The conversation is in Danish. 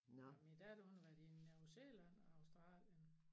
Nåh min datter hun har været i New Zealand og Australien